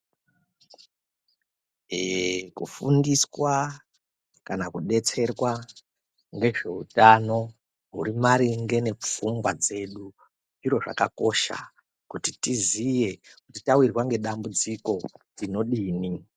Kufundiswa kana kudetserwa nezvehutano uri maringe nepfungwa dzedu zviro zvakakosha kuti tizive tawirwa nedambudziko tinodii.